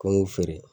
Ko n m'u feere